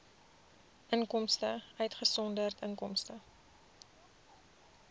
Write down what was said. inkomste uitgesonderd inkomste